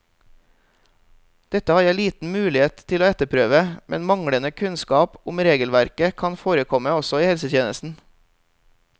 Dette har jeg liten mulighet til å etterprøve, men manglende kunnskap om regelverket kan forekomme også i helsetjenesten.